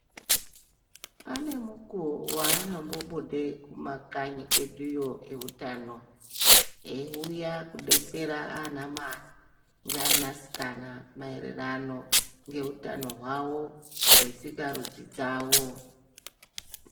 Ane mukuwo waanombobude kumakanyi kweduyo eutano, eiuya kudetsera aanamai ,ngeanasikana maererano ngeutano hwavo, hwesikarudzi dzavo.